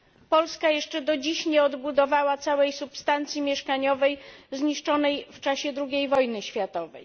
Polska jeszcze do dziś nie odbudowała całej substancji mieszkaniowej zniszczonej w czasie II wojny światowej.